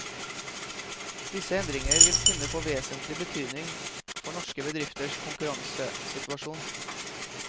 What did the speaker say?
Disse endringer vil kunne få vesentlig betydning for norske bedrifters konkurransesituasjon.